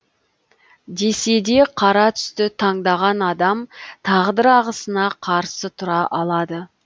десе де қара түсті таңдаған адам тағдыр ағысына қарсы тұра алады